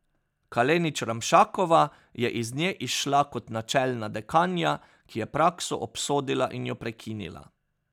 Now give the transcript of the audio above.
Kalenić Ramšakova je iz nje izšla kot načelna dekanja, ki je prakso obsodila in jo prekinila.